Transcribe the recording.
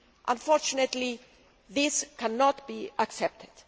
Unfortunately, this cannot be accepted.